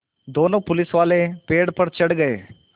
दोनों पुलिसवाले पेड़ पर चढ़ गए